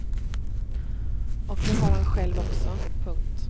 Och det har han själv också. punkt